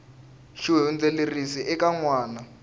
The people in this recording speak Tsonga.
xi hundziserile eka n wana